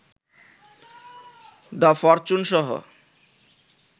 the ফরচুন-সহ